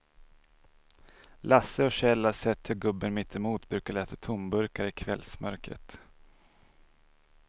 Lasse och Kjell har sett hur gubben mittemot brukar leta tomburkar i kvällsmörkret.